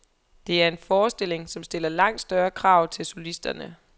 Det er en forestilling, som stiller langt større krav til solisterne.